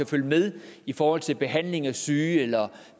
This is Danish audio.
følge med i forhold til behandlingen af syge eller